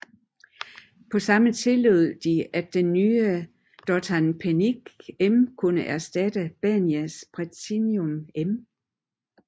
På samme tid tillod de at den nye Dothan Pentium M kunne erstatte Banias Pentium M